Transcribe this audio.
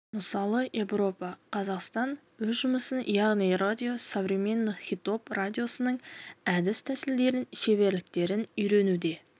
мысалы европа қазақстан өз жұмысын яғни радио современных хитов радиосының әдіс-тәсілдерін шеберліктерін үйренуде